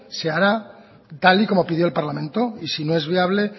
se hará tal y como pidió el parlamento y si no es viable